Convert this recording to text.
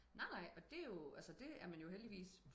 nej nej og det er jo det er man jo heldigvis